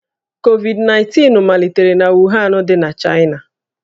Covid-19 malitere na Wuhan dị n'Chaịna